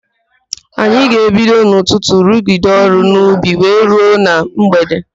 Anyị ga-ebido n'ụtụtụ rugide ọrụ n'ubi wee ruo na mgbede.